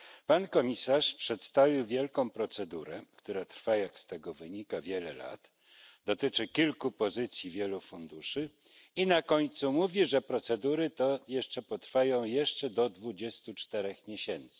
Pan komisarz przedstawił wielką procedurę, która trwa jak z tego wynika wiele lat, dotyczy kilku pozycji wielu funduszy i na końcu mówi, że procedury to jeszcze potrwają do 24 miesięcy.